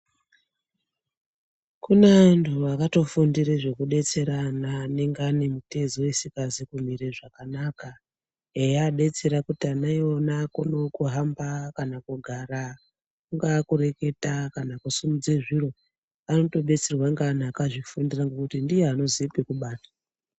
Kuna antu akatofundire zvekudetsera ana anenge ane mitezo isingazi kumire zvakanaka, eiabetsera kiti ana iwona akonewo kuhamba kana kugara, kungaa kureketa kana kusimudze zviro. Anotobetserwa ngevantu akazvifundira ngekuti ndiye anoziya pekubata.